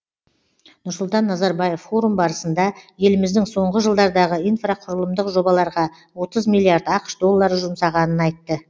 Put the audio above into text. нұрсұлтан назарбаев форум барысында еліміздің соңғы жылдардағы инфрақұқрылымдық жобаларға отыз миллиард ақш доллары жұмсағанын айтты